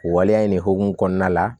O waleya in de hukumu kɔnɔna la